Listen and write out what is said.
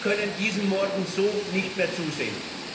Wir können diesen Morden so nicht mehr zusehen!